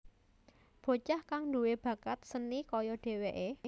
Bocah kang duwé bakat seni kaya dheweké